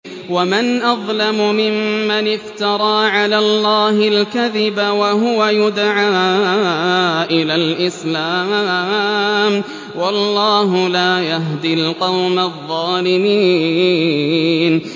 وَمَنْ أَظْلَمُ مِمَّنِ افْتَرَىٰ عَلَى اللَّهِ الْكَذِبَ وَهُوَ يُدْعَىٰ إِلَى الْإِسْلَامِ ۚ وَاللَّهُ لَا يَهْدِي الْقَوْمَ الظَّالِمِينَ